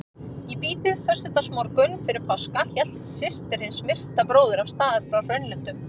Í bítið föstudagsmorgunn fyrir páska hélt systir hins myrta bróður af stað frá Hraunlöndum.